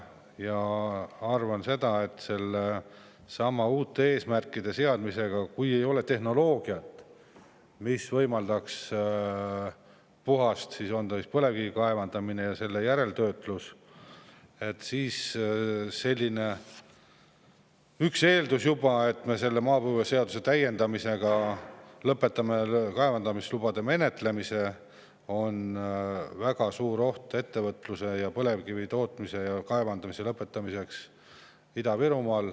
Ma arvan, et uute eesmärkide seadmisega on nii, et kui ei ole tehnoloogiat, mis võimaldaks puhast põlevkivi kaevandamist ja järeltöötlust, siis on juba see eeldus, et me maapõueseaduse täiendamisega lõpetame kaevandamislubade menetlemise, sest siis lõppeks ka ettevõtlus, põlevkivi tootmine ja kaevandamine Ida-Virumaal.